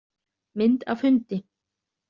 Mynd af hundi.